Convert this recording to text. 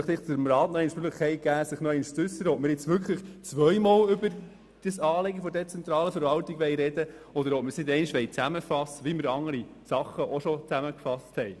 Ich möchte dem Rat die Möglichkeit geben, sich noch einmal zu äussern, ob wir wirklich zweimal über das Thema der dezentralen Verwaltung sprechen wollen, oder ob wir das Thema zusammenfassen, wie wir auch schon andere Geschäfte zusammengefasst haben.